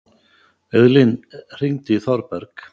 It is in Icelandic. Auðlín, hringdu í Þorberg.